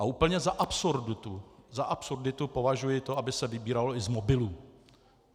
A úplně za absurditu, za absurditu považuji to, aby se vybíralo i z mobilů.